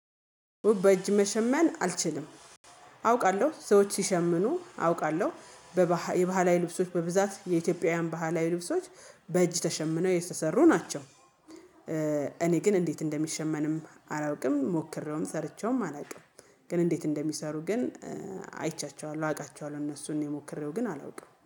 በእጅ መሸመን አልችልም። አውቃለሁ ሰዎች ሲሸምኑ አውቃለሁ በባህል የባህላዊ ልብሶች በብዛት የኢትዮጵያውያን ባህላዊ ልብሶች በእጅ ተሸምነው የተሰሩ ናቸው። እኔ ግን እንዴት እንደሚሸመንም አላውቅም ሞክሬውም ሰርቼውም አላውቅም። ግን እንዴት እንደሚሰሩ ግን አይቻቸዋለሁ አውቃቸዋለሁ እነሱን እኔ ሞክሬው ግን አላውቅም